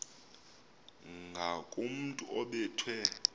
ngakomntu obe thwe